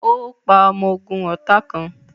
Ó pa ọmọ ogún ọ̀tá kàn